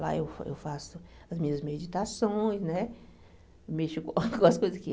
Lá eu fa eu faço as minhas meditações, né mexo com as coisas aqui.